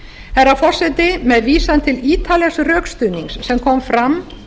herra forseti með vísan til ítarlegs rökstuðnings sem kom fram